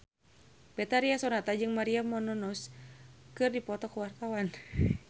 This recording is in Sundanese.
Betharia Sonata jeung Maria Menounos keur dipoto ku wartawan